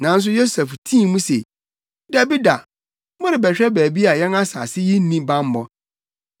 Nanso Yosef tii mu se, “Dabi da, morebɛhwɛ baabi a yɛn asase yi nni bammɔ.”